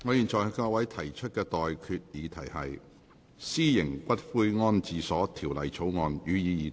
我現在向各位提出的待決議題是：《私營骨灰安置所條例草案》，予以二讀。